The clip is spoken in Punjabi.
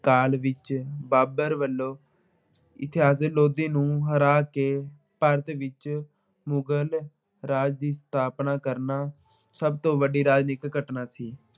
ਕਾਲ ਵਿੱਚ ਬਾਬਰ ਵੱਲੋਂ ਲੋਧੀ ਨੂੰ ਹਰਾ ਕੇ ਭਾਰਤ ਵਿੱਚ ਮੁਗਲ ਰਾਜ ਦੀ ਸਥਾਪਨਾ ਕਰਨਾ ਸਭ ਤੋਂ ਵੱਡੀ ਰਾਜਨੀਤਿਕ ਘਟਨਾ ਸੀ।